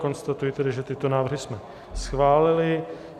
Konstatuji tedy, že tyto návrhy jsme schválili.